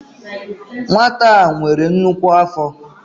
Nwata a nwere nnukwu afọ.